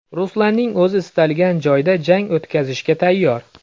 Ruslanning o‘zi istalgan joyda jang o‘tkazishga tayyor.